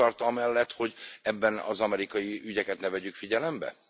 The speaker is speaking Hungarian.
Ön kitart amellett, hogy ebben az amerikai ügyeket ne vegyük figyelembe?